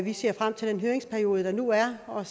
vi ser frem til den høringsperiode der nu er og